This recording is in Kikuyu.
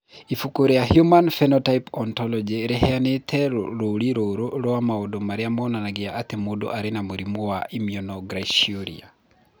Ibuku rĩa Human Phenotype Ontology rĩheanĩte rũũri rũrũ rwa maũndũ marĩa monanagia atĩ mũndũ arĩ na mũrimũ wa Iminoglycinuria.